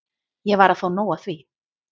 Ég var að fá nóg af því.